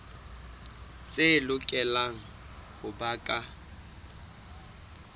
tse lokelang ho ba ka